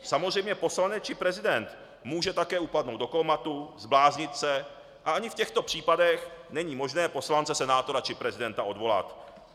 Samozřejmě poslanec či prezident může také upadnout do kómatu, zbláznit se a ani v těchto případech není možné poslance, senátora či prezidenta odvolat.